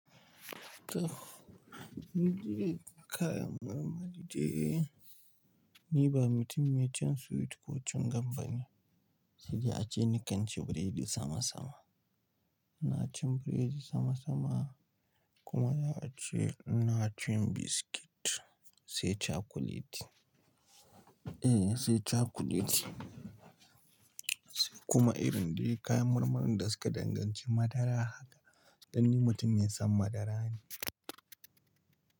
To, ni je kayan marmari je. Ni ba mutum mai cin sweet ko cin gam ba ne, sai jiya ace ni kan ci biredi sama sama. Ina cin biredi sama sama kuma za a ce na cin biskit sai cakuleti. Eh, sai cakuleti sai kuma irin dai kayan marmarin da suke danganci madara haka dan ni mutum mai son madara ne.